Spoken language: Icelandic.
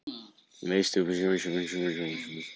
Veistu hverslags hlutskipti það er?